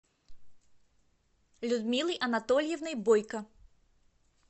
людмилой анатольевной бойко